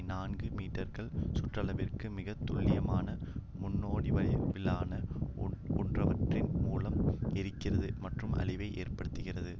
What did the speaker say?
நான்கு மீட்டர்கள் சுற்றளவிற்கு மிக துல்லியமான முக்கோணவடிவிலான ஒவ்வொன்றின் மூலமும் எரிக்கிறது மற்றும் அழிவை ஏற்படுத்துகிறது